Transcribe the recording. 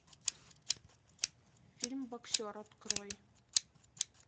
фильм боксер открой